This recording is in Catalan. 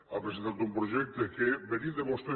ha presentat un projecte que venint de vostè